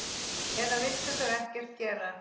Eða vildu þau ekkert gera?